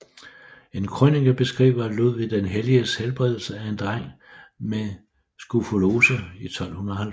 En krønike beskriver Ludvig den Helliges helbredelse af en dreng med skrofulose i 1270